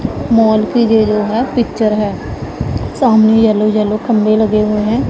Mall की जे जो है पिक्चर है सामने येलो येलो खम्भे लगे हुएं हैं।